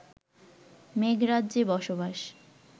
মেঘরাজ্যে বসবাস